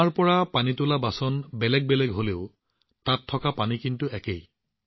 কবিৰা কুঁৱা এক হে পানী ভেৰে আনেক বৰ্তান মে হি ভেদ হে পানী সব মে এক